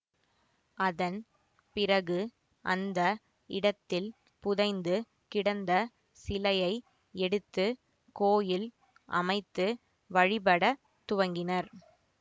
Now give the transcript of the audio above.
அதன் பிறகு அந்த இடத்தில் புதைந்து கிடந்த சிலையை எடுத்து கோயில் அமைத்து வழிபடத் துவங்கினர்